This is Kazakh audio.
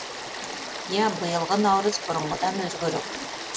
иә биылғы наурыз бұрынғыдан өзгерек